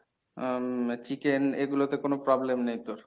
উম chicken এইগুলোতে কোনো problem নেই তোর?